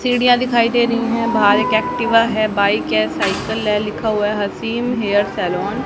सीढ़िया दिखाई दे रही है बाहर एक एक्टिवा है बाइक है साइकल है लिखा हुआ है हसीम हेयर सैलून --